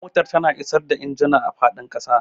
Motar tana isar da injuna a fadin kasa.